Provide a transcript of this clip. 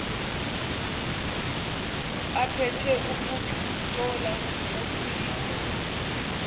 aphethe ukungcola okuyingozi